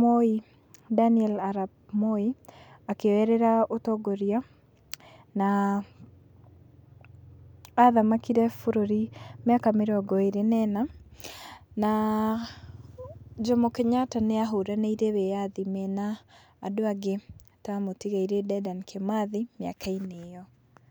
Moi, Daniel Arap Moi akĩoerera ũtongoria, na athamakire bũrũri mĩaka mĩrongo ĩrĩ na ĩna. Na Jomo Kenyatta nĩahũranĩire wĩathi mena andũ angĩ ta mũtigairĩ Dedan Kimathi mĩaka-inĩ ĩyo.